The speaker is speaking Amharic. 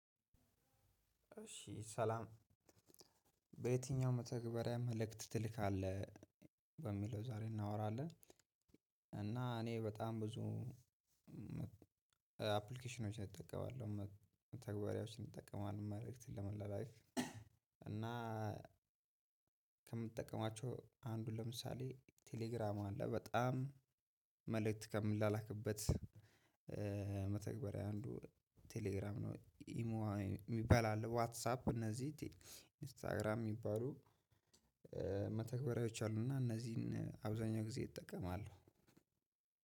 እሺ ሰላም! በየትኛው መተግበሪያ መልእክት ትልካለህ? በሚለው ዛሬ እናወራለን እና እኔ በጣም ብዙ አፕሊኬሽኖችን እጠቀማለሁ መተግበሪያዎችን እጠቀማለሁ መልእክት ለመላላክ እና ከምጠቀማቸው አንዱ ለምሳሌ ቴሌግራም አለ በጣም መልእክት ከምላላክበት መተግበሪያ አንዱ ቴሌግራም ነው። ኢሞ ሚባል አለ ዋትሳፕ እነዚህ ኢንስታግራም ሚባሉ መተግበሪያዎች አሉ እና እነዚህን አብዛኛው ጊዜ እጠቀማለሁ